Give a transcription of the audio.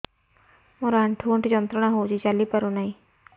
ମୋରୋ ଆଣ୍ଠୁଗଣ୍ଠି ଯନ୍ତ୍ରଣା ହଉଚି ଚାଲିପାରୁନାହିଁ